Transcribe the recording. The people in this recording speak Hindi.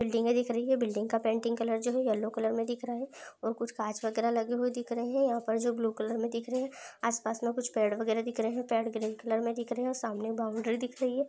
बिल्डिंगे दिख रही है बिल्डिंग का पेंटिंग नजर आ रहा है पेंटिंग कलर जो है येलो कलर में दिख रहा है और कुछ कांच वगैरा लगे हुए दिख रहे है यह पे जो ब्लू कलर का दिख रहै है आस-पास में कुछ पेड़ वैगरह भी दिख रहे है ग्रीन कलर में दिख रहे है सामने बाउंड्री दिख रही है।